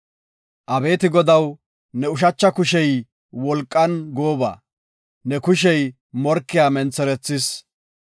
“Abeeti Godaw, ne ushacha kushey wolqan gooba; ne kushey morkiya mentherethis.